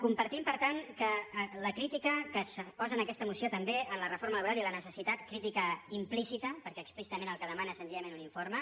compartim per tant la crítica que es posa en aquesta moció també a la reforma laboral i la necessitat crítica implícita perquè explícitament el que demana és sen·zillament un informe